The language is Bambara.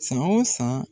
San o san